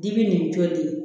Digi nin jolen